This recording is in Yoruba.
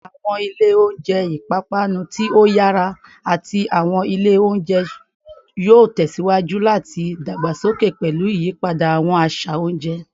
Awọn ilẹ ounjẹ ipapanu ti o yara ati awọn ile ounjẹ yoo tẹsiwaju lati dagbasoke pẹlu iyipada awọn aṣa ounjẹ